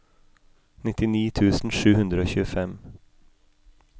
nittini tusen sju hundre og tjuefem